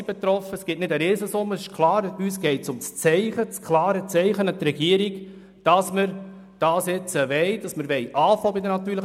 Es ist klar, das ergibt keine Riesensumme, aber uns geht es um ein klares Zeichen an die Regierung, dass wir jetzt bei den natürlichen Personen anfangen wollen.